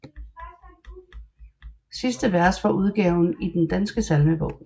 Sidste vers fra udgaven i Den Danske Salmebog